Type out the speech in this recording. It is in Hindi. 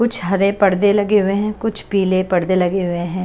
कुछ हरे पर्दे लगे हुए हैं कुछ पीले पर्दे लगे हुए हैं।